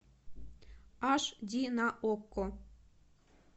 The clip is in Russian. аш ди на окко